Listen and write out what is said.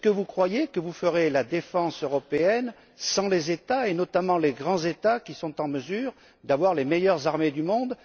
Croyez vous que vous ferez la défense européenne sans les États, et notamment les grands États, qui sont en mesure d'avoir les meilleures armées du monde?